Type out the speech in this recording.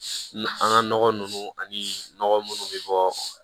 An ga nɔgɔ nunnu ani nɔgɔ munnu be bɔ